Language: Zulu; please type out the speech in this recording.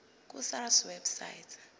ku sars website